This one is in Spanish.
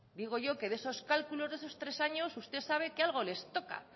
digo yo que de esos cálculos de esos tres años usted sabe que algo les toca